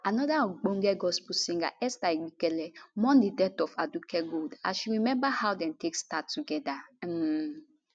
anoda ogbonge gospel singer esther igbekele mourn di death of aduke gold as she remember how dem take start togeda um